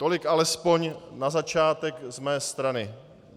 Tolik aspoň na začátek z mé strany.